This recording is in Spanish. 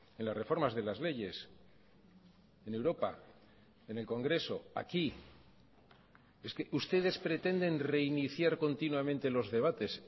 en las reformas de las leyes en europa en el congreso aquí es que ustedes pretenden reiniciar continuamente los debates